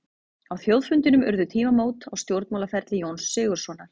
Á þjóðfundinum urðu tímamót á stjórnmálaferli Jóns Sigurðssonar.